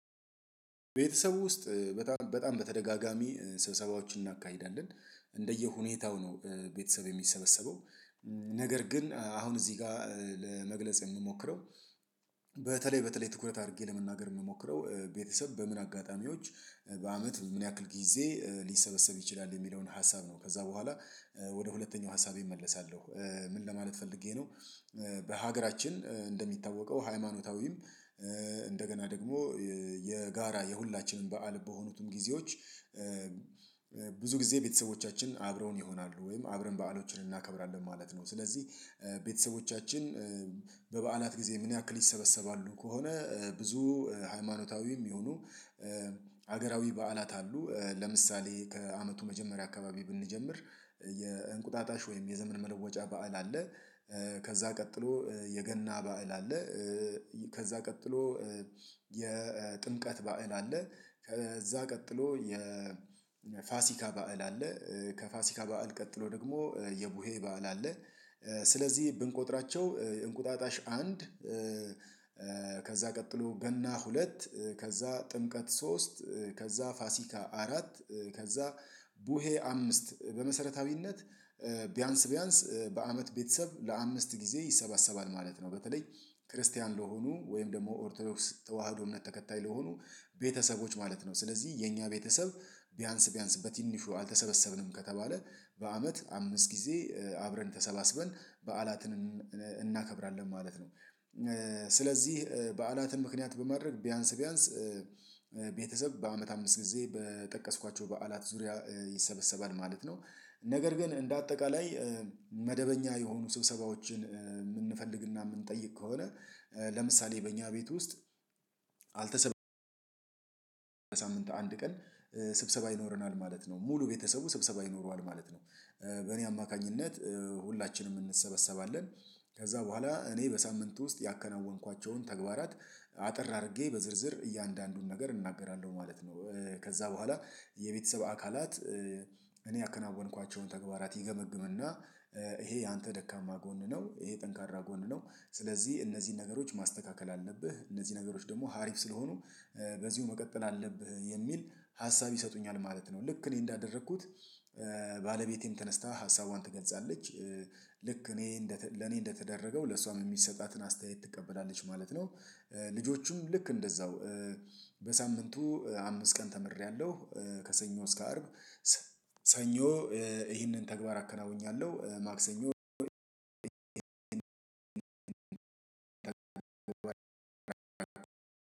ቤተሰቡ ውስጥ በጣም በጣም በተደጋጋሚ ስብሰባዎችን እናካሂዳለን። እንደየሁኔታው ነው ቤተሰብ የሚሰበሰበው። ነገር ግን አሁን እዚህ ጋ ለመግለጽ የምሞክረው። በተለይ በተለይ ትኩረት አድርጌ ለመናገር ምሞክረው ቤተሰብ በምን አጋጣሚዎች በአመት ምን ያክል ጊዜ ሊሰበሰብ ይችላል የሚለውን ሀሳብ ነው። ከዛ በኋላ ወደ ሁለተኛው ሀሳቤ እመለሳለሁ። ምን ለማለት ፈልጌ ነው። በሀገራችን እንደሚታወቀው ሃይማኖታዊም እንደገና ደግሞ የጋራ የሁላችንም በዓል በሆኑትም ጊዜዎች። ብዙ ጊዜ ቤተሰቦቻችን አብረውን ይሆናሉ ወይም አብረን በዓሎችን እናከብራለን ማለት ነው። ስለዚህ ቤተሰቦቻችን በበዓላት ጊዜ ምን ያክል ይሰበሰባሉ ከሆነ ብዙ ሃይማኖታዊም ይሁኑ። ሀገራዊ በዓላት አሉ ለምሳሌ ከአመቱ መጀመሪያ አካባቢ ብንጀምር የእንቁጣጣሽ ወይም የዘመን መለወጫ በዓል አለ። ከዛ ቀጥሎ የገና በዓል አለ። ከዛ ቀጥሎ የጥምቀት በዓል አለ። ከዛ ቀጥሎ የ ፋሲካ በዓል አለ። ከፋሲካ በዓል ቀጥሎ ደግሞ የቡሄ በዓል አለ። ስለዚህ ብንቆጥራቸው እንቁጣጣሽ አንድ ከዛ ቀጥሎ ገና ሁለት ከዛ ጥምቀት ሶስት ከዛ ፋሲካ አራት ከዛ ቡሄ አምስት በመሰረታዊነት ቢያንስ ቢያንስ በአመት ቤተሰብ ለአምስት ጊዜ ይሰበሰባል ማለት ነው። በተለይ ክርስቲያን ለሆኑ ወይም ደግሞ ኦርቶዶክስ ተዋህዶ እምነት ተከታይ ለሆኑ ቤተሰቦች ማለት ነው። ስለዚህ የኛ ቤተሰብ ቢያንስ ቢያንስ በትንሹ አልተሰበሰብንም ከተባለ በአመት አምስት ጊዜ አብረን ተሰባስበን በዓላትን እናከብራለን ማለት ነው። ስለዚህ በዓላትን ምክንያት በማድረግ ቢያንስ ቢያንስ ቤተሰብ በአመት አምስት ጊዜ በጠቀስኳቸው በዓላት ዙሪያ ይሰበሰባል ማለት ነው። ነገር ግን እንደ አጠቃላይ መደበኛ የሆኑ ስብሰባዎችን ምንፈልግና ምንጠይቅ ከሆነ። ለምሳሌ በእኛ ቤት ውስጥ አልተሰበስብንም። ሳምንት አንድ ቀን ስብሰባ ይኖረናል ማለት ነው። ሙሉ ቤተሰቡ ስብሰባ ይኖረዋል ማለት ነው። በእኔ አማካኝነት ሁላችንም እንሰበሰባለን። ከዛ በኋላ እኔ በሳምንት ውስጥ ያከናወንኳቸውን ተግባራት አጥር አድርጌ በዝርዝር እያንዳንዱን ነገር እናገራለሁ ማለት ነው። ከዛ በኋላ የቤተሰብ አካላት እኔ ያከናወንኳቸውን ተግባራት ይገመግምና ይሄ ያንተ ደካማ ጎን ነው። ይሄ ጠንካራ ጎን ነው። ስለዚህ እነዚህን ነገሮች ማስተካከል አለብህ እነዚህ ነገሮች ደግሞ ሀሪፍ ስለሆኑ በዚሁ መቀጠል አለብህ የሚል ሀሳብ ይሰጡኛል ማለት ነው። ልክ እኔ እንዳደረኩት ባለቤቴን ተነስታ ሀሳቧን ትገልጻለች። ልክ እኔ ለኔ እንደተደረገው ለሷም የሚሰጣትን አስተያየት ትቀበላለች ማለት ነው። ልጆቹም ልክ እንደዛው በሳምንቱ አምስት ቀን ተምሬያለሁ። ከሰኞ እስከ አርብ። ሰኞ ይህንን ተግባር አከናውኛለሁ ማክሰኞ